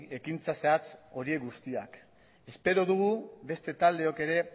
ekintza zehatz horiek guztiak espero dugu beste taldeak ere